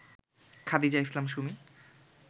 Khadija Islam Sumi